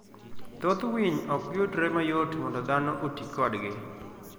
Thoth winy ok yudre mayot mondo dhano oti kodgi.